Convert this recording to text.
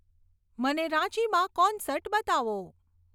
મને રાંચીમાં કોન્સર્ટ બતાવો